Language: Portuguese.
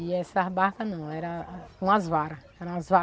E essas barcas não, era com as varas. Era umas